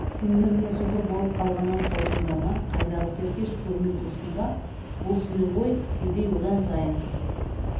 сендер не соқыр болып қалғаннан саусыңдар ма қайдағы серкеш көрмей тұрсың ба бұл сиыр ғой кедей одан сайын